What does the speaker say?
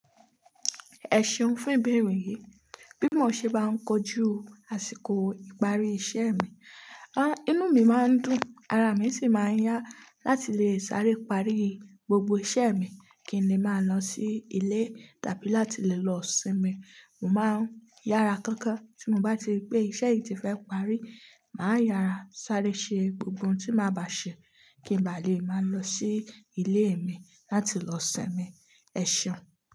Ẹ ṣeun fún ìbẹ̀erẹ̀ yìí. Bí mọ ṣe bá ń kojú àsìkò ìparí iṣẹ́ mi, ah inú mi máa ń dùn, ara mi sì máa ń yá láti lè sáré parí gbogbo iṣẹ́ mi kí ni mà lọ sí ilé tàbí láti lè lọ sinmi. Mo máa ń yára kánkán tí mo bá ti rí pé iṣẹ́ yìí ti fẹ́ parí, màá yára sáré ṣe gbogbo ohun tí máa bà ṣe kí n ba lè máa lọ sí ilé mi láti lọ sinmi. Ẹ ṣeun.